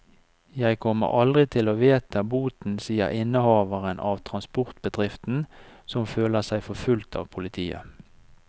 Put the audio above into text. Jeg kommer aldri til å vedta boten, sier innehaveren av transportbedriften, som føler seg forfulgt av politiet.